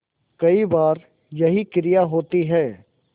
कई बार यही क्रिया होती है